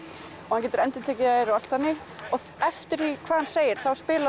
hann getur endurtekið þær og allt þannig eftir því hvað hann segir spila